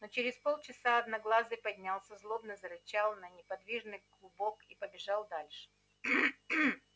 но через полчаса одноглазый поднялся злобно зарычал на неподвижный клубок и побежал дальше